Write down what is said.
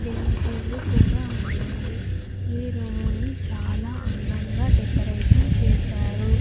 బెంచీలు కూడా ఉన్నాయి ఈ రూముని చాలా అందంగా డెకరేషన్ చేశారు.